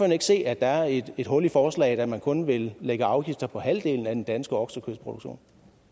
ikke se at der er et hul i forslaget når man kun vil lægge afgifter på halvdelen af den danske oksekødsproduktion